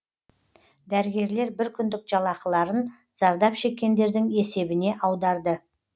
дәрігерлер бір күндік жалақыларын зардап шеккендердің есебіне аударды